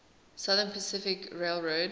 southern pacific railroad